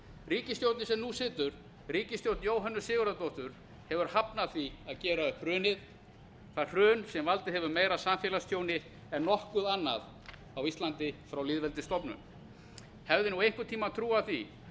ríkisstjórnin sem nú situr ríkisstjórn jóhönnu sigurðardóttur hefur hafnað því að gera upp hrunið það hrun sem valdið hefur meira samfélagstjóni en nokkuð annað á íslandi frá lýðveldisstofnun hefði nú einhvern tímann einhver trúað því